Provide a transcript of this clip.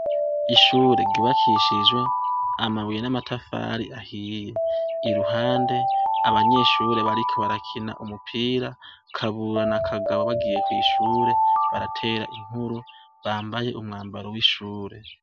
Ishure ryubakishijwe amabuye n'amatafari ahiye iruhande abanyeshure bariko barakina umupira Kabura na Kagabo bagiye kw'ishure baratera inkuru bambaye umwambaro w'ishure.